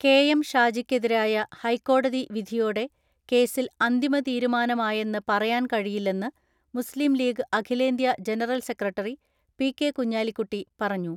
K M ഷാജിക്കെതിരായ ഹൈക്കോടതി വിധിയോടെ കേസിൽ അന്തിമതീരുമാനമായെന്ന് പറയാൻ കഴിയില്ലെന്ന് മുസ്ലിം ലീഗ് അഖിലേന്ത്യ ജനറൽ സെക്രട്ടറി പി.കെ കുഞ്ഞാലിക്കുട്ടി പറഞ്ഞു